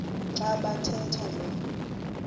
xa bathetha lo